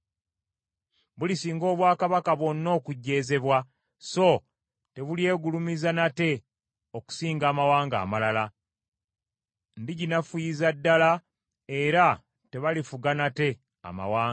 Bulisinga obwakaba bwonna okujeezebwa, so tebulyegulumiza nate okusinga amawanga amalala. Ndiginafuyiza ddala, era tebalifuga nate amawanga.